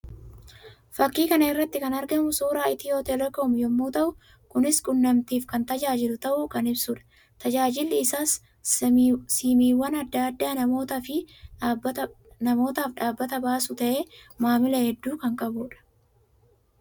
Fakkii kana irratti kan argamu suuraa Itiyoo telekoom yammuu ta'u; kunis quunnamtiif kan tajaajilu ta'uu kan ibsuudha. Tajaajilli isaas siimiiwwan addaa addaa namootaaf dhaabbata baasuu ta'ee maamila hedduu kan qabuu dha.